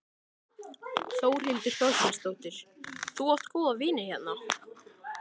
Þórhildur Þorkelsdóttir: Þú átt góða vini hérna?